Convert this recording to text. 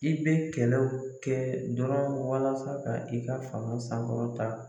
I bɛ kɛlɛw kɛ dɔrɔn walasa ka i ka fanga sankɔrɔ ta.